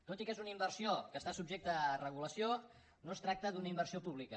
tot i que és una inver·sió que està subjecta a regulació no es tracta d’una in·versió pública